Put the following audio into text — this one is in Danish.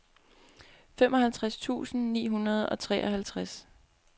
femoghalvtreds tusind ni hundrede og treoghalvtreds